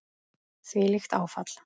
Þvílíkt áfall.